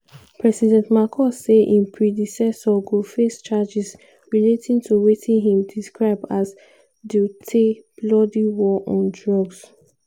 president marcos say im predecessor go face charges relating to wetin im describe as duterte "bloody war on drugs".